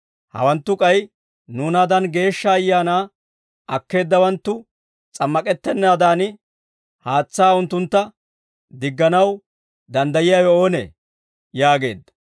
«Hawanttu k'ay nuunaadan Geeshsha Ayaanaa akkeeddawanttu s'ammak'ettennaadan, haatsaa unttuntta digganaw danddayiyaawe oonee?» yaageedda.